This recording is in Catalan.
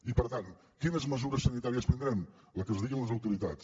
i per tant quines mesures sanitàries prendrem les que ens diguin les autoritats